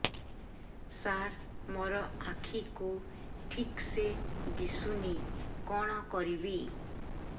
ସାର ମୋର ଆଖି କୁ ଠିକସେ ଦିଶୁନି କଣ କରିବି